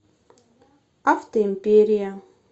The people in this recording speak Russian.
автоимперия